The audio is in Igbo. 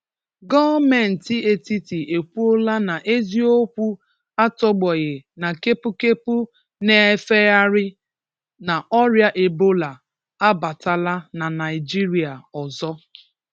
Gọọmenti etiti e kwuola na eziokwụ atọgbọghị na kepukepu na-efegharị na ọrịa Ebola a batala na Naịjirịa ọzọ.